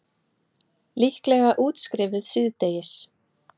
Líklega útskrifuð síðdegis